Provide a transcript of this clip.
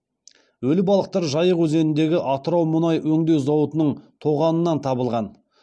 өлі балықтар жайық өзеніндегі атырау мұнай өңдеу зауытының тоғанынан табылған